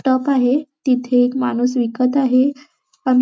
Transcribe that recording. top आहे तिथे माणूस विकत आहे अ --